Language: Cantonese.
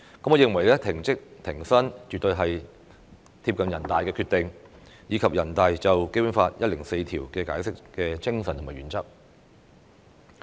我認為"停職停薪"絕對是貼近人大常委會的決定，以及人大常委會關於《基本法》第一百零四條的解釋的精神和原則。